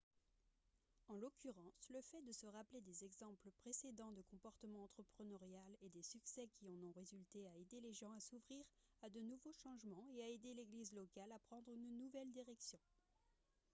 en l'occurrence le fait de se rappeler des exemples précédents de comportement entrepreneurial et des succès qui en ont résulté a aidé les gens à s'ouvrir à de nouveaux changements et a aidé l'église locale à prendre une nouvelle direction